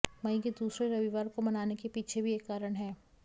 मई के दूसरे रविवार को मनाने के पीछे भी एक कारण है